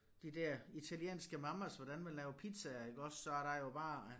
De der italienske mamas hvordan man laver pizzaer iggås så der jo bare